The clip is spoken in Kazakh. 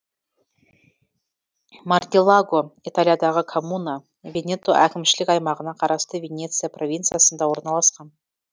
мартеллаго италиядағы коммуна венето әкімшілік аймағына қарасты венеция провинциясында орналасқан